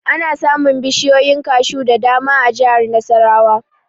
Ana samun bishiyoyin kashu da dama a jihar Nasarawa